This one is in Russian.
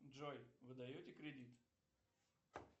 джой вы даете кредит